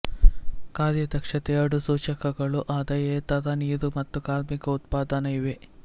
ಕಾರ್ಯ ದಕ್ಷತೆ ಎರಡು ಸೂಚಕಗಳು ಆದಾಯೇತರ ನೀರು ಮತ್ತು ಕಾರ್ಮಿಕ ಉತ್ಪಾದನಾ ಇವೆ